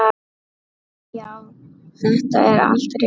Já, þetta er allt rétt.